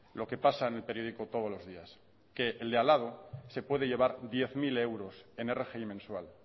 lo que pasa en el periódico todos los días que el de al lado se puede llevar diez mil euros en rgi mensual